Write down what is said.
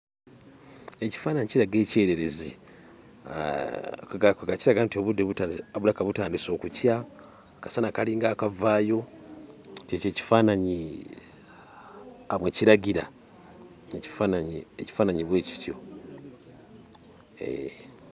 Ekifaananyi kiraga ekyererezi ah kwe ggamba kiraga nti obudde butandise bulabika butandise okukya, akasana kalinga akavaayo. Ky'ekyo ekifaananyi bwe kiragira, ekifaananyi ekifaananyi bwe kityo hee.